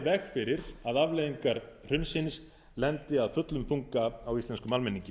veg fyrir að afleiðingar hrunsins lendi af fullum þunga á íslenskum almenningi